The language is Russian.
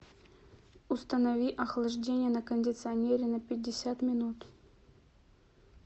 установи охлаждение на кондиционере на пятьдесят минут